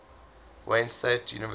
wayne state university